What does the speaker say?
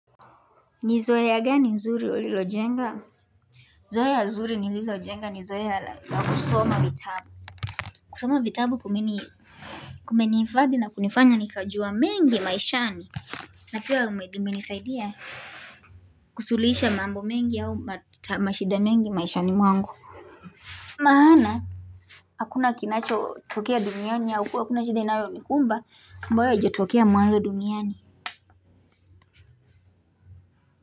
Ni zoea gani nzuri ulilojenga? Zoea zuri nililojenga ni zoe la kusoma vitabu kusoma vitabu kumeni hifadhi na kunifanya nikajua mengi maishani Napia umenisaidia? Kusulihisha mambo mengi au mashida mengi maishani mwangu maana hakuna kinacho tokea duniani au kuwa hakuna shida inayo nikumba ambayo haijotokea mwanzo duniani.